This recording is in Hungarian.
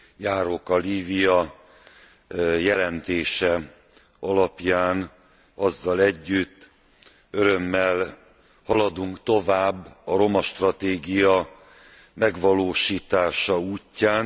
Járóka Lívia jelentése alapján, azzal együtt, örömmel haladunk tovább a romastratégia megvalósítása útján.